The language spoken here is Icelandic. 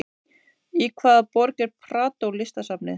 Í hvaða borg er Prado listasafnið?